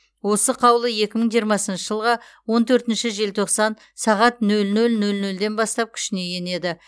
осы қаулы екі мың жиырмасыншы жылғы он төртінші желтоқсан сағат нөл нөл нөл нөлден бастап күшіне енеді